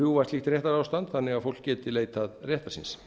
rjúfa slíkt réttarástand þannig að fólk geti leitað réttar síns